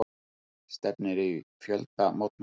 Stefnir í fjöldamótmæli